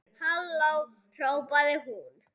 Halló hrópaði hún.